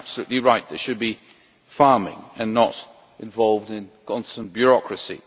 They are absolutely right. They should be farming and not involved in constant bureaucracy.